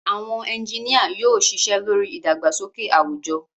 Àwọn ẹ́ńjìnìa yóò ṣiṣẹ́ lórí ìdàgbàsókè àwùjọ